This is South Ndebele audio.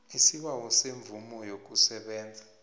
isibawo semvumo yokusebenza